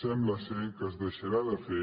sembla que es deixarà de fer